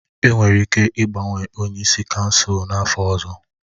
Enwere ike ịgbanwe onye isi kansụl n'afọ ọzọ